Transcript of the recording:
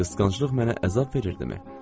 Qısqanclıq mənə əzab verirdimi?